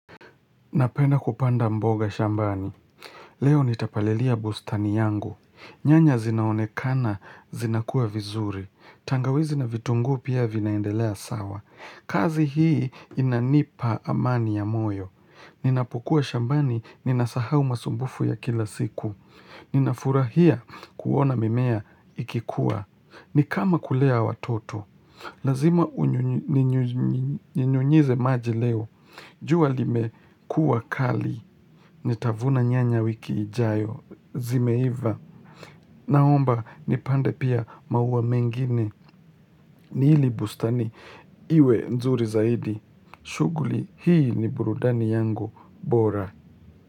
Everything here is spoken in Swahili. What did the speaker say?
Napenda kupanda mboga shambani. Leo nitapalilia bustani yangu. Nyanya zinaonekana, zinakuwa vizuri. Tangawizi na vitunguu pia vinaendelea sawa. Kazi hii inanipa amani ya moyo. Ninapokuwa shambani, ninasahau masumbufu ya kila siku. Ninafurahia kuona mimea ikikuwa. Ni kama kulea watoto. Lazima unyunyu ninyunyu unyunyize maji leo. Jua limekuwa kali, nitavuna nyanya wiki ijayo, zimeiva, naomba nipande pia maua mengine, ni hili bustani, iwe nzuri zaidi, shughuli hii ni burudani yangu bora.